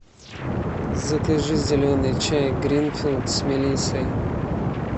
закажи зеленый чай гринфилд с мелиссой